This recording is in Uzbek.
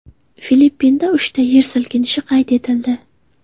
Filippinda uchta yer silkinishi qayd etildi.